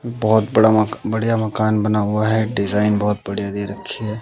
बहोत बड़ा मका बढ़िया मकान बना हुआ है डिजाइन बहोत बढ़िया दे रखी है।